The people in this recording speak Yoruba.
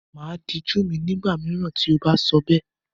Màá dijú mi, ní ìgbà mìíràn tí o bá sọ bẹ́ẹ̀.